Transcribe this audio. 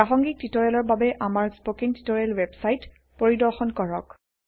প্ৰাসংগীক টিউটৰিয়েলৰ বাবে আমাৰ স্পকেন টিউটৰিয়েল ৱেবসাইট পৰিদৰ্শন কৰক